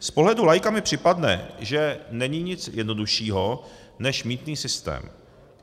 Z pohledu laika mi připadne, že není nic jednoduššího než mýtný systém.